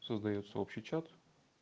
создаётся общий чат